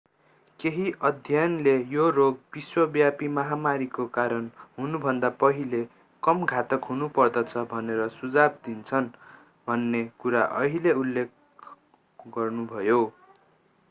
केही अध्ययनले यो रोग विश्वव्यापी महामारीको कारण हुनुभन्दा पहिले कम घातक हुनुपर्दछ भनेर सुझाव दिन्छन् भन्ने कुरा उहाँले उल्लेख गर्नुभयो